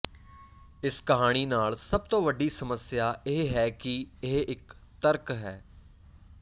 ਇਸ ਕਹਾਣੀ ਨਾਲ ਸਭ ਤੋਂ ਵੱਡੀ ਸਮੱਸਿਆ ਇਹ ਹੈ ਕਿ ਇਹ ਇੱਕ ਤਰਕ ਹੈ